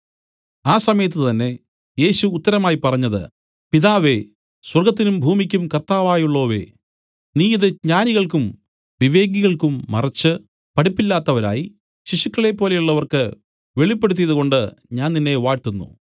ആ സമയത്തു തന്നേ യേശു ഉത്തരമായി പറഞ്ഞത് പിതാവേ സ്വർഗ്ഗത്തിനും ഭൂമിക്കും കർത്താവായുള്ളോവേ നീ ഇതു ജ്ഞാനികൾക്കും വിവേകികൾക്കും മറച്ച് പഠിപ്പില്ലാത്തവരായി ശിശുക്കളെപ്പോലെയുള്ളവർക്ക് വെളിപ്പെടുത്തിയതുകൊണ്ട് ഞാൻ നിന്നെ വാഴ്ത്തൂന്നു